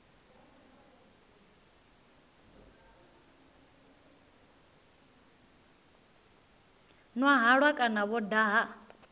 nwa halwa kana vho daha